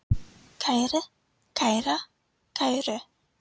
kæri, kæra, kæru